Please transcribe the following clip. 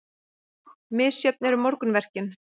Misjöfn eru morgunverkin.